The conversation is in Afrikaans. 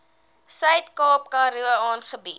suidkaap karoo aangebied